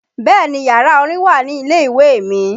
Bẹ́ẹ̀ni yàrá orin wà ní ilé ìwé mi